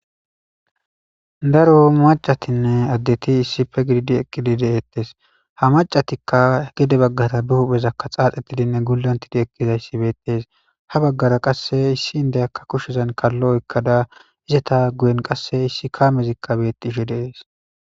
Daro maccathinne addethi issippe gididi eqidi dethes. Ha maccathikka gede bagathi be hupheza xaxetidinne gulonttidi eqidayssi bethess. Ha bagara qassi issi indiyakka kusheza kallo oykkada izzatha guyen qasse issi kamme bethishin dees.